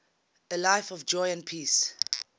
a life of joy and peace